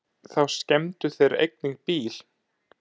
Þá skemmdu þeir einnig bíl.